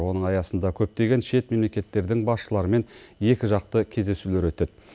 оның аясында көптеген шет мемлекеттердің басшыларымен екіжақты кездесулер өтеді